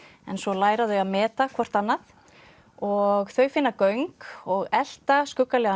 en svo læra þau að meta hvort annað og þau finna göng og elta